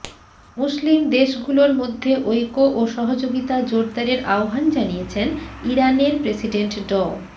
মুসলিম দেশগুলোর মধ্যে ঐক্য ও সহযোগিতা জোরদারের আহ্বান জানিয়েছেন ইরানের প্রেসিডেন্ট ড